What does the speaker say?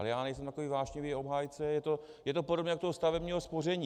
Ale já nejsem takový vášnivý obhájce, je to podobné jako u stavebního spoření.